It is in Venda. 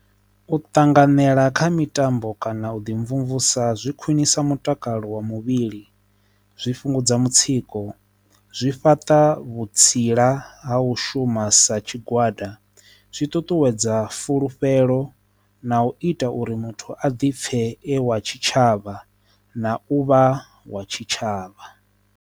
U ṱanganedza kha mitambo kana u ḓi mvumvusa zwi khwinisa mutakalo wa muvhili, zwi fhungudza mutsiko, zwi fhaṱa vhutsila ha u shuma u sa tshigwada, zwi ṱuṱuwedza fulufhelo na u ita uri muthu a ḓi pfe wa tshitshavha na u vha wa tshitshavha.